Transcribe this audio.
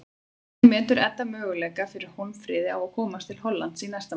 Hvernig metur Edda möguleika fyrir Hólmfríði á að komast til Hollands í næsta mánuði?